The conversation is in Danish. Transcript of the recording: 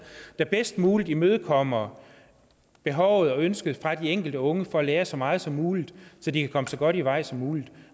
der bedst muligt imødekommer behovet og ønsket fra de enkelte unge for at lære så meget som muligt så de kan komme så godt i vej som muligt